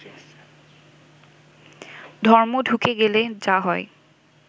ধর্ম ঢুকে গেলে যা হয়